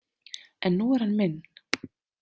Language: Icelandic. En nú er hann minn.